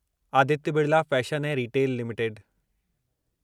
Aditya Birla fashion ऐं retail limited